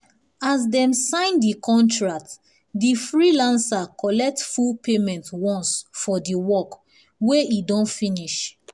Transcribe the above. as dem sign the contract the freelancer collect full payment once for the work wey e don finish. um